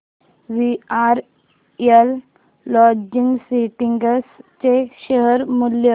VRL logistics चे share मूल्य